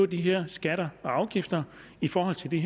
de her skatter og afgifter i forhold til de